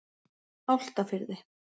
Álftafirði